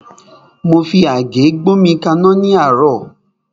Mo fi àgé gbómi kaná ní àárọ́.